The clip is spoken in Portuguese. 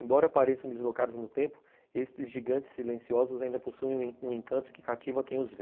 Embora apareçam deslocados no tempo, estes gigantes silenciosos ainda possuem um um encanto que cativa quem os vê.